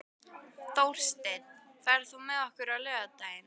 Þórsteinn, ferð þú með okkur á laugardaginn?